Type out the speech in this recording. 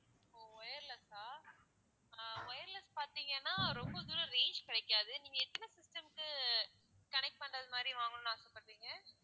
ஓ wireless ஆ ஆஹ் wireless பார்தீங்கன்னா ரொம்ப தூரம் range கிடைக்காது நீங்க எத்தனை systems க்கு connect பண்ணுறது மாதிரி வாங்கணும்னு ஆசைப்படுறீங்க?